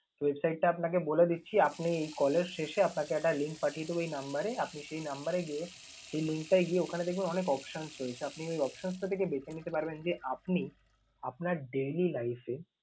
Website টা আপনাকে বলে দিচ্ছি। আপনি এই call এর শেষে আপনাকে একটা link পাঠিয়ে দেব এই number এ, আপনি সেই number এ গিয়ে সেই link টায় গিয়ে ওখানে দেখবেন অনেক options রয়েছে। আপনি ওই options টা থেকে বেঁছে নিতে পারবেন যে আপনি আপনার daily life এ